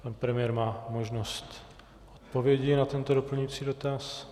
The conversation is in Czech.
Pan premiér má možnost odpovědi na tento doplňující dotaz.